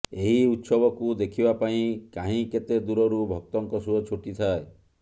ଏହି ଉତ୍ସବକୁ ଦେଖିବା ପାଇଁ କାହିଁ କେତେ ଦୂରରୁ ଭକ୍ତଙ୍କ ସୁଅ ଛୁଟି ଥାଏ